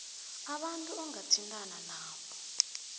abantu ongathintana nabo